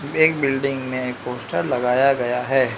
एक बिल्डिंग में एक पोस्टर लगाया गया है।